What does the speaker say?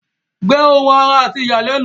Gbẹ́ ohun àrà àti ìyàlẹ́nu.